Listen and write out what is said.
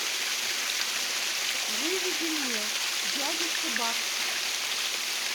выведи мне дядюшка бак